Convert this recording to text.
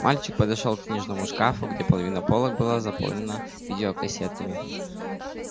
мальчик подошёл к книжному шкафу где половина полок была заполнена видеокассетами